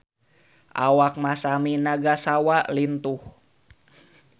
Awak Masami Nagasawa lintuh